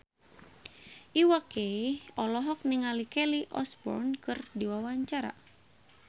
Iwa K olohok ningali Kelly Osbourne keur diwawancara